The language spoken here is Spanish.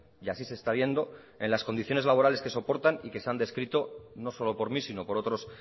y así se está viendo en las condiciones laborales que soportan y que se han descrito no solo por mí sino por otros